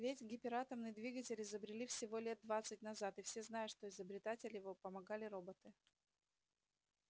ведь гиператомный двигатель изобрели всего лет двадцать назад и все знают что изобретать его помогали роботы